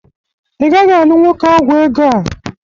Ị gaghị alụ nwoke ọgwọ ego a